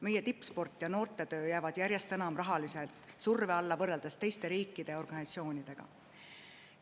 Meie tippsport ja noortetöö jäävad järjest enam rahalise surve alla, võrreldes teiste riikide organisatsioonidega.